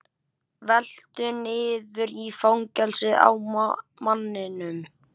Veltur niður í fangið á manninum.